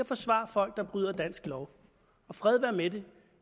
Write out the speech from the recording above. forsvare folk der bryder dansk lov fred være med det